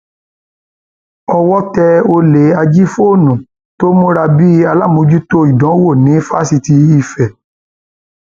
owó tẹ olè ajìfóònù tó múra bíi aláàmójútó ìdánwò ní fásitì ife